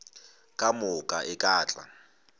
ka moka e ka tla